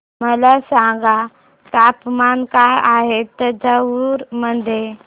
मला सांगा तापमान काय आहे तंजावूर मध्ये